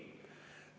Ei!